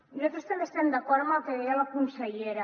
i nosaltres també estem d’acord amb el que deia la consellera